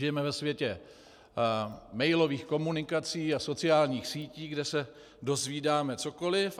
Žijeme ve světě mailových komunikací a sociálních sítí, kde se dozvídáme cokoliv.